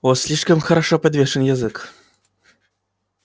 у вас слишком хорошо подвешен язык